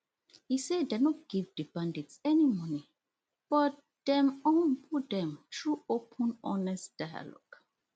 e say dem no give di bandits any money but dem humble dem through open honest dialogue